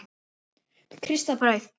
Krists burð.